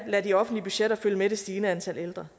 lade de offentlige budgetter følge med det stigende antal ældre